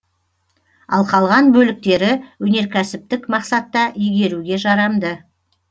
ал қалған бөліктері өнеркәсіптік мақсатта игеруге жарамды